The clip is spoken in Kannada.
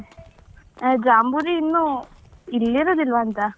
ಅಹ್ ಜಾಂಬೂರಿ ಇನ್ನು ಇಲ್ಲಿ ಇರುದಿಲ್ವಾ ಅಂತ?